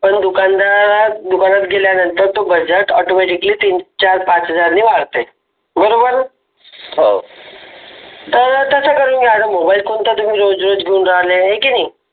पण दुकानदार दुकानात गेल्यानंतर तो बजेट तीन चार पाच हजार नी वाढते बरोबर हो तर तसं करून घ्या मोबाईल कोणता तुम्ही रोज रोज घेऊन राहिले आहे की नाही.